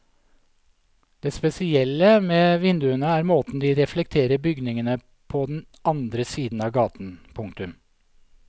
Det spesielle med vinduene er måten de reflekterer bygningene på den andre siden av gaten. punktum